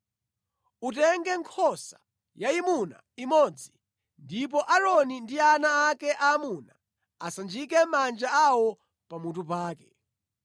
“Utenge nkhosa yayimuna imodzi ndipo Aaroni ndi ana ake aamuna asanjike manja awo pamutu pake.